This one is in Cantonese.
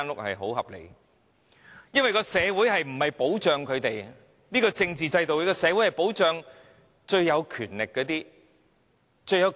我們的社會不保障中產，在現行的政治制度下，社會只保障最有權力的人。